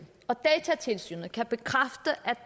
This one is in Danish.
og datatilsynet kan bekræfte